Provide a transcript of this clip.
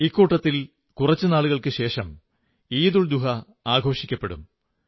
ഇവയുടെ കൂട്ടത്തിൽ കുറച്ചു നാളുകൾക്കു ശേഷം വരുന്ന ഈദുൽ സുഹാ യും ആഘോഷിക്കപ്പെടും